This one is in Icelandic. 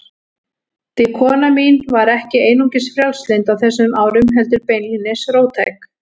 Því kona mín var ekki einungis frjálslynd á þessum árum, heldur beinlínis róttæk.